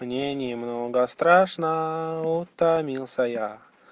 мне немного страшно утомился я